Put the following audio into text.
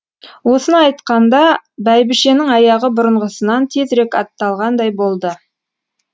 осыны айтқанда бәйбішенің аяғы бұрынғысынан тезірек атталғандай болды